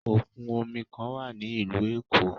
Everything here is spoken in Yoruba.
Okun omi kan wa ni ilu Eko